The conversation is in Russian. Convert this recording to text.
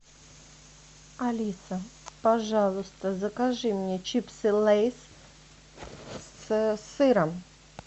алиса пожалуйста закажи мне чипсы лейс с сыром